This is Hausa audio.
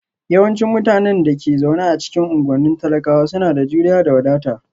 Yawancin mutanen da ke zaune a cikin unguwannin talakawa suna da juriya da wadata